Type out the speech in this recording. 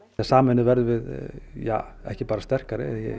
sameinuð verðum við ekki bara sterkari